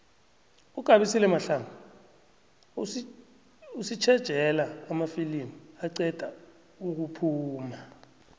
ugabisile mahlangu usitjejela amafilimu aqeda ukuphuma